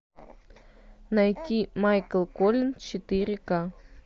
найти майкл колин четыре ка